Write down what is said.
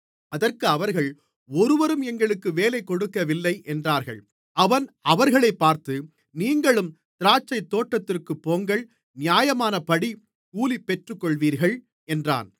அதற்கு அவர்கள் ஒருவரும் எங்களுக்கு வேலை கொடுக்கவில்லை என்றார்கள் அவன் அவர்களைப் பார்த்து நீங்களும் திராட்சைத்தோட்டத்திற்குப் போங்கள் நியாயமானபடி கூலி பெற்றுக்கொள்வீர்கள் என்றான்